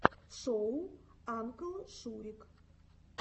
шоу анклшурик